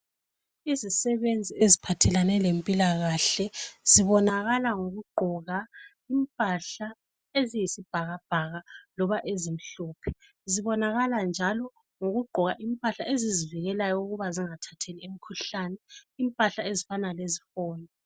Izisebenzi eziphathelane lempila kahle zibonakala ngokuqgoka impahla eziyisibhakabhaka loba ezimhlophe zibonakala njalo ngokuqgoka impahla ezizivikelayo ukuba zingathathi imikhuhlane impahla ezifana leziboni